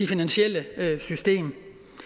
finansielle system